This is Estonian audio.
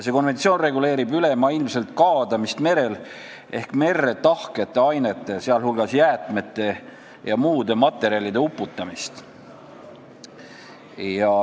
See konventsioon reguleerib ülemaailmselt kaadamist merel ehk merre tahkete ainete, sh jäätmete ja muude materjalide uputamist.